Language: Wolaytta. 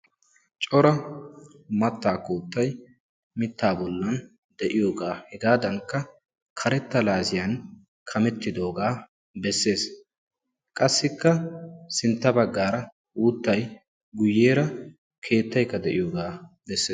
Cora mattaa koottayi mittaa bollan de'iyogaa hegaadankka karetta laasiyan kamettidoogaa besses. Qassikka sintta baggaara uuttayi guyyeera keettayikka de'iyogaa besses.